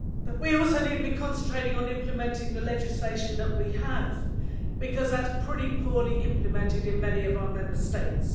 We also need to concentrate on implementing the legislation that we have because that is pretty poorly implemented in many of our Member States.